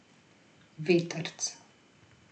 Vetrc.